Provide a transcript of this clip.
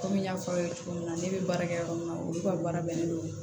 Kɔmi n y'a fɔ aw ye cogo min na ne bɛ baara kɛ yɔrɔ min na olu ka baara bɛnnen don